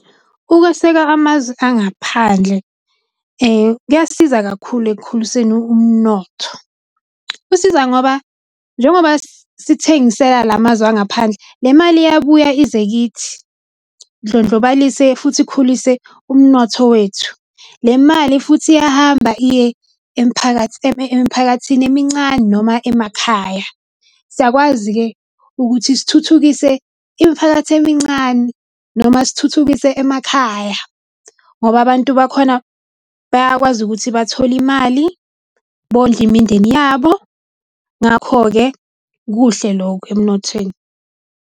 Ukweseka amazwe angaphandle kuyasiza kakhulu ekukhuliseni umnotho. Kusiza ngoba njengoba sithengisela lamazwe angaphandle, le mali iyabuya ize kithi indlondlobalise futhi ikhulise umnotho wethu. Le mali futhi iyahamba iye emiphakathini emincane noma emakhaya. Siyakwazi-ke ukuthi sithuthukise imiphakathi emincane noma sithuthukise emakhaya ngoba abantu bakhona bayakwazi ukuthi bathole imali, bondle imindeni yabo. Ngakho-ke kuhle lokho emnothweni.